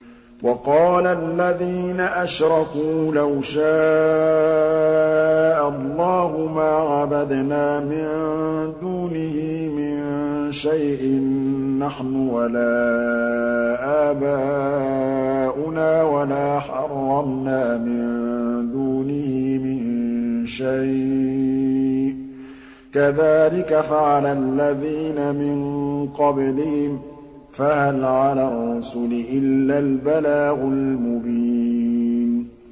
وَقَالَ الَّذِينَ أَشْرَكُوا لَوْ شَاءَ اللَّهُ مَا عَبَدْنَا مِن دُونِهِ مِن شَيْءٍ نَّحْنُ وَلَا آبَاؤُنَا وَلَا حَرَّمْنَا مِن دُونِهِ مِن شَيْءٍ ۚ كَذَٰلِكَ فَعَلَ الَّذِينَ مِن قَبْلِهِمْ ۚ فَهَلْ عَلَى الرُّسُلِ إِلَّا الْبَلَاغُ الْمُبِينُ